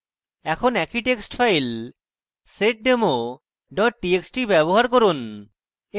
এখন একই text file seddemo txt txt ব্যবহার করুন